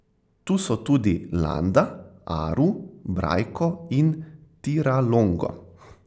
Tu so tudi Landa, Aru, Brajko in Tiralongo.